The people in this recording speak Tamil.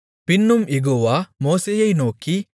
பின்னும் யெகோவா மோசேயை நோக்கி